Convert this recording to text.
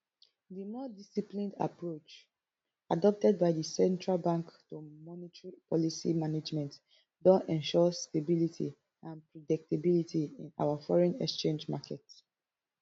di more disciplined approach adopted by di central bank to monetary policy management don ensure stability and predictability in our foreign exchange market